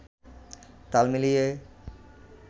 তাল মিলিয়ে